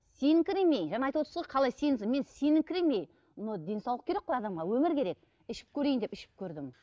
сеніңкіремей жаңа айтып отырсыз ғой қалай мен сеніңкіремей но денсаулық керек қой адамға өмір керек ішіп көрейін деп ішіп көрдім